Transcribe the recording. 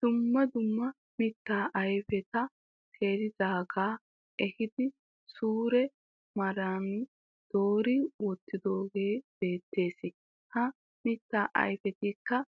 Dumma dumma mittaa ayifeta teeridaagaa ehiidii sure maaran doori wottidoogee beettes. Ha mitaa ayifetikka:-